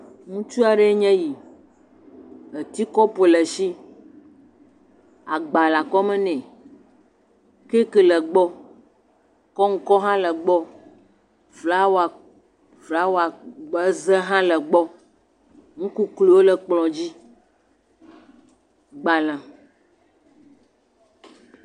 Ŋutsua ɖɛ nye yi. Eti kɔpu le eshi, agba le akɔme nɛ, caki le egbɔ, kɔŋkɔ hã le egbɔ. Flawa flawa kp kpeze ze hã le egbɔ. ŋukukliwole kplɔ dzi, gbale.